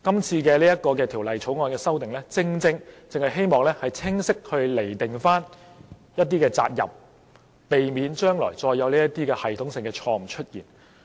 這項《條例草案》的修訂，正正希望清晰釐定一些責任，避免將來再出現類似的系統性錯誤。